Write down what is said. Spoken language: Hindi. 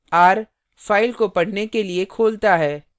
r – file को पढ़ने के लिए खोलता है